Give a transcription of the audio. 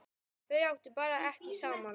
Þau áttu bara ekki saman.